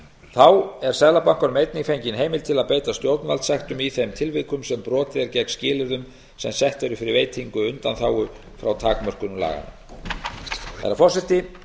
þá er seðlabankanum einnig fengin heimild til að beita stjórnvaldssektum í þeim tilfellum sem brotið er gegn skilyrðum sem sett eru fyrir veitingu undanþágu frá takmörkunum laganna herra forseti ég